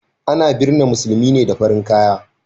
A na binne musulmi ne da farin kaya